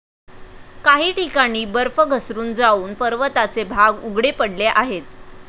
काही ठिकाणी बर्फ घसरून जावून पर्वताचे भाग उघडे पडले आहेत.